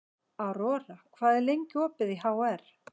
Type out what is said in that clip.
Aurora, hvað er lengi opið í HR?